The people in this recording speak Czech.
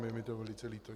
Je mi to velice líto.